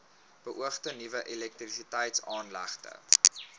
beoogde nuwe elektrisiteitsaanlegte